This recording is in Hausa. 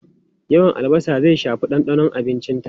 Yawan albasa zai shafi dandanon abincinta.